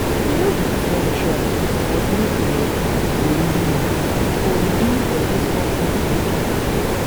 we no be di same tribe but we um go live for live for dis compound in peace.